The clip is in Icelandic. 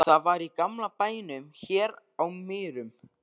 Það var í gamla bænum hér á Mýrum.